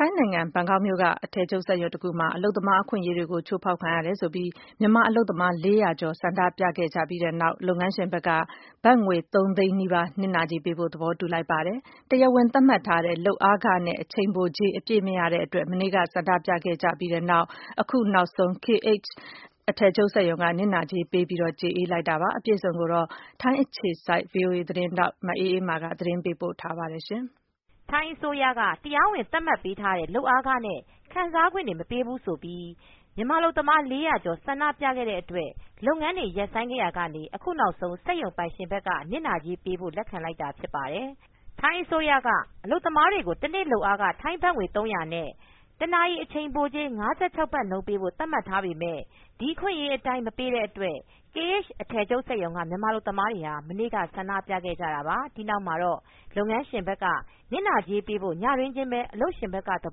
ိုင်းနိုင်ငံဘန်ကောက်မြို့က အထည်ချုပ်စက်ရုံတခုမှာ အလုပ်သမား အခွင့်အရေးတွေ ချိုးဖောက်ခံရတယ်ဆိုပြီး မြန်မာအလုပ်သမား ၄၀၀ ကျော် ဆန္ဒပြခဲ့ကြပြီးနောက် လုပ်ငန်းရှင်က ဘတ်ငွေ ၃ သန်းနီးပါး နစ်နာကြေးပေးဖို့ သဘောတူလိုက်ပါတယ်။ တရားဝင်သတ်မှတ်ထားတဲ့ လုပ်အားခနဲ့ အချိန်ပိုကြေး အပြည့်မရတဲ့ အတွက် မနေ့ကဆန္ဒပြခဲ့ပြီးနောက် အခုနောက်ဆုံး KH အထည်ချုပ် စက်ရုံက နစ်နာကြေးပေး ကျေအေးလိုက်တာပါ။ အပြည့်အစုံကိုတော့ ထိုင်းနိုင်ငံ အခြေစိုက် ဗွီအိုအေမြန်မာပိုင်း သတင်းထောက် မအေးအေးမာက သတင်းပေးပို့ ထားပါတယ်။ ထိုင်းအစိုးရက တရားဝင် သတ်မှတ်ထားတဲ့ လုပ်ခ နဲ့ ခံစားခွင့်တွေ မပေးဘူး ဆိုပြီး မြန်မာအလုပ်သမား ၄၀၀ ကျော် ဆန္ဒပြခဲ့တဲ့အတွက် လုပ်ငန်းတွေ ရပ်ဆိုင်းခဲ့ရာက အခုနောက်ဆုံး စက်ရုံပိုင်ရှင်ဘက်က နစ်နာကြေးပေးဖို့ လက်ခံလိုက်တာ ဖြစ်ပါတယ်။ ထိုင်းအစိုးရက အလုပ်သမားတွေကို တနေ့လုပ်အားခ ထိုင်းဘတ်ငွေ ၃၀၀ နဲ့ တနာရီ အချိန်ပိုကြေး ၅၆ ဘတ်နှုန်း ပေးဖို့ သတ်မှတ် ထားပေမဲ့၊ ဒီအခွင့်အရေးအတိုင်း မပေးတဲ့အတွက် KH အထည်ချုပ် စက်ရုံက မြန်မာ အလုပ်သမားတွေ မနေ့က ဆန္ဒပြခဲ့ကြတာပါ။ ဒီနောက်မှာတော့ လုပ်ငန်းရှင်က နစ်နာကြေးပေးဖို့ ညတွင်းချင်းပဲ အလုပ်ရှင်ဘက်က သ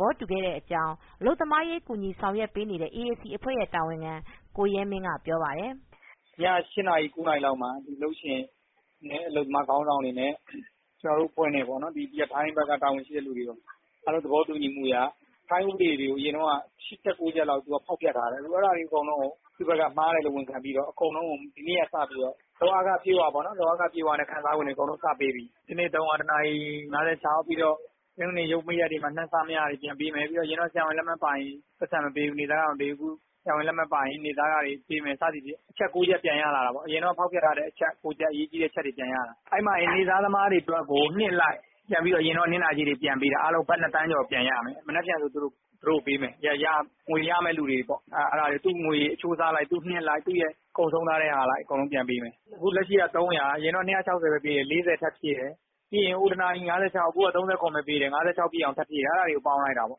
ဘောတူခဲ့တာ ဖြစ်တဲ့အကြောင်း အလုပ်သမားရေး ကူညီဆောင်ရွက်ပေးနေတဲ့ AAC အဖွဲ့ တာဝန်ခံ ကိုရဲမင်းက ပြောပါတယ်။ " ည ၈ နာရီ၊ ၉နာရီလောက်မှာ အလုပ်ရှင်နဲ့ အလုပ်သမားခေါင်းဆောင်တွေနဲ့ ကျနော်တို့အဖွဲ့နဲ့ပေါ့နော် ဒီဘက်က ထိုင်းဘက်က ခေါင်းဆောင်တွေ အားလုံး သဘောတူညီမှုအရ ထိုင်းဥပဒေအရ အရင်တုန်းက ၈ကျပ်၊ ၉ကျပ်လောက် ဖောက်ဖျက်ထားတယ်။ အဲ့တာတွေ အကုန်လုံးကို သူ့ဘက်က မှားတယ်ဝန်ခံပြီးတော့ အကုန်လုံးကို ဒီကနေ့ကစပြီးတော့ လုပ်အားခ အပြည့်အဝပေါ့နော်။ လုပ်အားခအပြည့်အဝနဲ့ ခံစားခွင့်တွေ စပေးပြီ။ တနေ့ကို ဘတ်သုံးရာ၊ တနာရီကို ၅၆ဘတ်၊ ပြီးတော့ ရုံးပိတ်ရက်တွေမှာ နှစ်ဆ မရတာတွေ ပြန်ပေးမယ်။ အရင်တုန်းက ဆရာဝန်လက်မှတ်မပါရင် ပိုက်ဆံမပေးဘူး။ နေ့စားခတွေ မပေးဘူး။ အခု ဆရာဝန်လက်မှတ် ပါရင် နေ့စားခတွေပေးမယ် စသည်ဖြင့် အရင်တုန်းက ဖောက်ဖျက်ထားတဲ့ အချက် ချက်ပြန်ရလာတာပေါ့။ အရေးကြီးတဲ့အချက်တွေ ပြန်ရလာတယ်။ အဲ့မှာ နေ့စားသမားတွေ နှစ်အလိုက်ပြန်ပေးတာ အားလုံး ဘတ်နှစ်သန်းကျော် ပြန်ရမယ်။ မနက်ဖြန်ဆို သူတို့ကိုပေးမယ်။ ငွေရမယ့်သူတွေပေါ့။ သူ့ငွေအချိုးအစား အလိုက်၊ နှစ်အလိုက် သူ့ရဲ့ ကုန်ဆုံးထားတဲ့ဟာ အလိုက်ပြန်ပေးမယ်။ အခုလက်ရှိက သုံးရာ၊ အရင်တုန်းက ၂၆၀ပဲ ပေးတယ်။ ၄၀ ထပ်ဖြည့်တယ်။ ပြီးရင် တနာရီ ၅၆ ။ အရင်တုန်းက ၃၇ ပဲပေးတာ။ ၅၆ ပြည့်အောင် ထပ်ဖြည့်တယ်။ အဲ့တာတွေကို ပေါင်းလိုက်တာပေါ့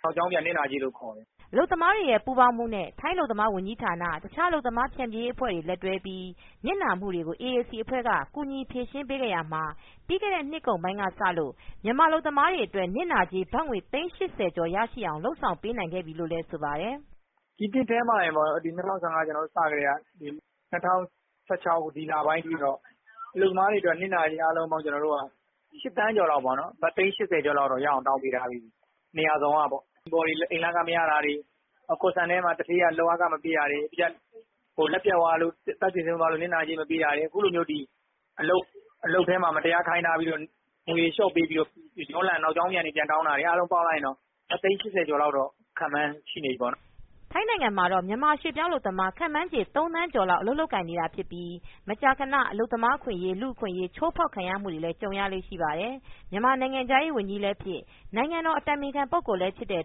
။ နောက်ကြောင်းပြန် နစ်နာကြေးလို့ ခေါ်တယ်။" အလုပ်သမားတွေရဲ့ ပူးပေါင်းမှုနဲ့ ထိုင်းအလုပ်သမားဝန်ကြီးဌာန၊ တခြား အလုပ်သမား ဖြန်ဖြေရေးအဖွဲ့တွေနဲ့ လက်တွဲပြီး၊ နစ်နာမူတွေကို AAC အဖွဲ့က ကူညီဖြေရှင်းပေးခဲ့ရာမှာ၊ ပြီးခဲ့တဲ့နှစ်ကုန်ပိုင်းကစလို့ မြန်မာအလုပ်သမားတွေအတွက် နစ်နာကြေး ဘတ်ငွေ သိန်း ၈၀ကျော်အထိ ရရှိအောင် လုပ်ဆောင်ပေးနိုင်ခဲ့ပြီ လို့လည်း ဆိုပါတယ်။ " ဒီနှစ်ထဲမှာတင်ပေါ့နော်။ ၂၀၁၅ ကျနော်တို့စကတည်းက ၂၀၁၆ ဒီလပိုင်းအထိပေါ့။ အလုပ်သမားတွေအတွက် နစ်နာကြေး အားလုံးပေါင်း ကျနော်တို့က ၈သန်းကျော်လောက်၊ ဘတ်သိန်း ၈၀ကျော်လောက် ရအောင် တောင်းပေး ထားပြီးပြီ။ နေရာစုံကပေါ့။ အိမ်ဖော်တွေ အိမ်လခမရတာတွေ၊ သူဌေးက လုပ်အားခ မပေးတာတွေ၊ လက်ပြတ်သွားလို့ အသက်သေဆုံးသွားလို့ နစ်နာကြေး မပေးတာတွေ အခုလိုမျိုး အလုပ်ထဲမှာ မတရားခိုင်းထားပြီးတော့ ငွေလျော့ပေး တာတွေကို နောက်ကြောင်းပြန် ပြန်တောင်းတာတွေ အားလုံးပေါင်းလိုက်ရင် ဘတ်သိန်း၈၀ကျော်လောက် ခန့်မှန်းရှိနေပြီပေါ့နော်။ ထိုင်းနိုင်ငံမှာတော့ မြန်မာရွှေ့ပြောင်းအလုပ်သမား ခန့်မှန်းခြေ ၃ သန်းကျော်လောက် အလုပ်လုပ်ကိုင် နေတာဖြစ်ပြီး၊ မကြာခန အလုပ်သမား အခွင့်အရေး၊ လူ့အခွင့်အရေး ချိုးဖောက်ခံရမှုတွေလည်း ကြုံရလေ့ ရှိပါတယ်။ မြန်မာနိုင်ငံခြားရေးဝန်ကြီးလည်းဖြစ်၊ နိုင်ငံတော် အတိုင်ပင်ခံ ပုဂ္ဂိုလ်လည်းဖြစ်တဲ့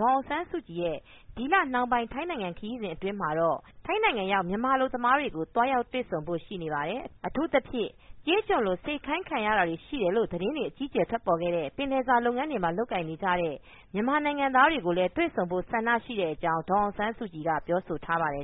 ဒေါ်အောင်ဆန်းစုကြည် ရဲ့ ဒီလနှောင်းပိုင်း ထိုင်းနိုင်ငံ ခရီးစဉ် အတွင်းမှာတော့ ထိုင်းနိုင်ငံရောက် မြန်မာအလုပ်သမားတွေကို သွားရောက်တွေ့ဆုံဖို့ ရှိပါတယ်။ အထူးသဖြင့် ကျေးကျွန်လို စေခိုင်းခံရတာတွေ ရှိတယ်လို့ သတင်းတွေ အကြီးအကျယ် ထွက်ပေါ်ခဲ့တဲ့ ပင်လယ်စာလုပ်ငန်းမှာ လုပ်ကိုင်နေကြတဲ့ မြန်မာနိုင်ငံသားတွေ ကို တွေ့ဆုံဖို့ ဆန္ဒရှိကြောင်း လည်း ဒေါ်အောင်ဆန်းစုကြည်က ပြောဆိုထားပါတယ်